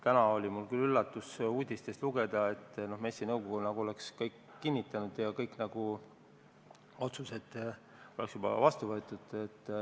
Täna oli minu jaoks küll üllatus uudistest lugeda, nagu oleks MES-i nõukogu kõik juba kinnitanud ja kõik otsused vastu võtnud.